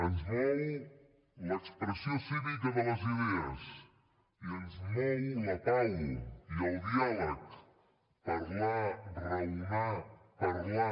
ens mou l’expressió cívica de les idees i ens mou la pau i el diàleg parlar raonar parlar